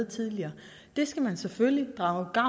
tidligere det skal man selvfølgelig drage